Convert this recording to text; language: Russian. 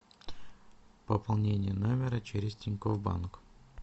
пополнение номера через тинькофф банк